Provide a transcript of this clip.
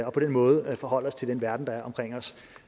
og på den måde forholde os til den verden der er omkring os